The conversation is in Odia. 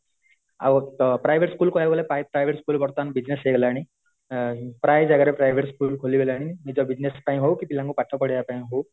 ଆଉ ତ private school କହିବା କୁ ଗଲେ ପ୍ରାଏ private school ବର୍ତମାନ business ହେଇ ଗଲାଣି ପ୍ରାୟ ଜାଗାରେ private school ଖୁଲି ଗଲାଣି ନିଜ business ହଉକି ପିଲାଙ୍କୁ ପାଠ ପଢେଇବା ପାଇଁ ହଉ